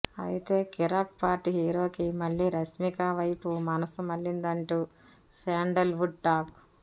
అయితే కిరాక్ పార్టీ హీరోకి మళ్లీ రష్మిక వైపు మనస్సు మళ్లిందంటూ శాండల్ వుడ్ టాక్